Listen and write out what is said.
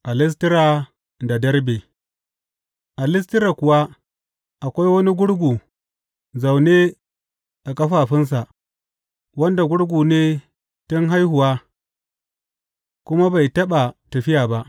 A Listira da Derbe A Listira kuwa akwai wani gurgu zaune a ƙafafunsa, wanda gurgu ne tun haihuwa, kuma bai taɓa tafiya ba.